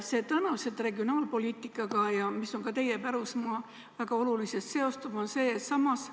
Tänase regionaalpoliitikaga, mis on ka teie pärusmaa, väga oluliselt seostub mul selline probleem.